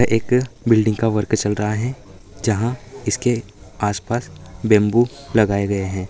ये एक बिल्डिंग का वर्क चल रहा है जहां इसके आसपास बैम्बू लगाए गए है।